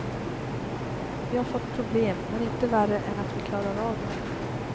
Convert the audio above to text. Vi har fått problem, men inte värre än att vi klarar av dem.